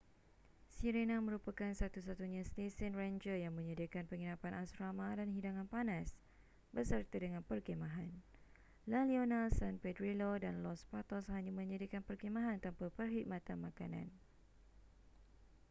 sirena merupakan satu-satunya stesen renjer yang menyediakan penginapan asrama dan hidangan panas beserta dengan perkhemahan la leona san pedrillo dan los patos hanya menyediakan perkhemahan tanpa perkhidmatan makanan